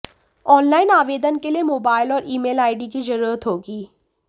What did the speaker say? online आवेदन के लिए मोबाईल और ईमेल आईडी की जरुरत होगी